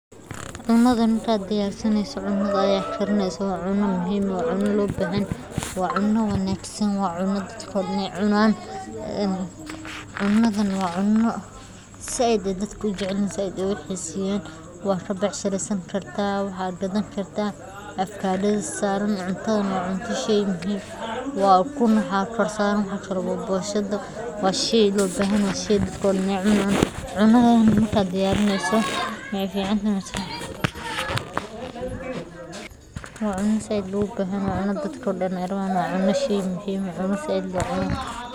Cunnadan marka aad diyarsanayso ama aad karineyso waa cunno muhiim ah oo u baahan feejignaan iyo xulasho wanaagsan oo ah agabka aad isticmaaleyso, maxaa yeelay tayada iyo dhadhanka cuntada waxay si toos ah ugu xiran yihiin sida loo diyaariyo. Marka hore waa in la helaa hilib nadiif ah, khudaar cusub iyo xawaash tayo leh si ay cuntadu u noqoto mid caafimaad leh isla markaana dhadhan fiican leh. Waxaa muhiim ah in la hubiyo in wax kasta oo la isticmaalayo ay yihiin kuwo nadiif ah oo aan waxyeello u geysan karin caafimaadka. Habka karinta sidoo kale wuxuu door weyn ka ciyaaraa tayada cuntada, iyadoo la adeegsanayo.